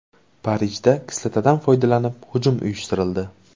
Parijda kislotadan foydalanib hujum uyushtirildi.